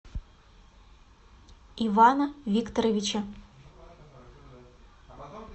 ивана викторовича